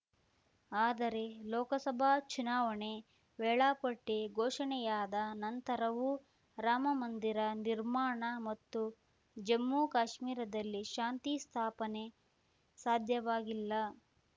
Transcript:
ಆದರೆ ಲೋಕಸಭಾ ಚುನಾವಣೆ ವೇಳಾಪಟ್ಟಿ ಘೋಷಣೆಯಾದ ನಂತರವೂ ರಾಮಮಂದಿರ ನಿರ್ಮಾಣ ಮತ್ತು ಜಮ್ಮು ಕಾಶ್ಮೀರದಲ್ಲಿ ಶಾಂತಿ ಸ್ಥಾಪನೆ ಸಾಧ್ಯವಾಗಿಲ್ಲ